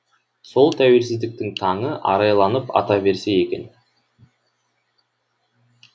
сол тәуелсіздіктің таңы арайланып ата берсе екен